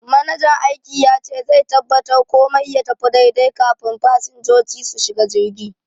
Manajan aiki yace zai tabbatar komai ya tafi daidai kafun fasinjoji su shiga jirgi.